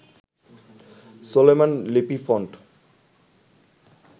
Solaiman Lipi font